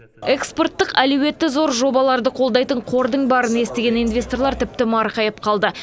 экспорттық әлеуеті зор жобаларды қолдайтын қордың барын естіген инвесторлар тіпті марқайып қалды